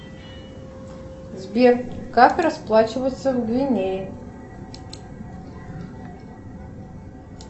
сбер как расплачиваться в гвинее